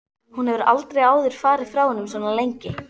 Hún hefur aldrei áður farið frá honum svona lengi.